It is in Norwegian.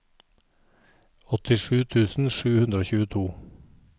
åttisju tusen sju hundre og tjueto